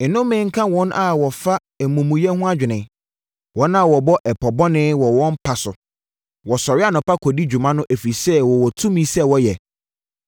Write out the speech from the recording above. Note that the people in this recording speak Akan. Nnome nka wɔn a wɔfa amumuyɛ ho adwene, wɔn a wɔbɔ ɛpɔ bɔne wɔ wɔn mpa so! Wɔsɔre anɔpa kɔdi dwuma no ɛfiri sɛ wɔwɔ tumi sɛ wɔyɛ.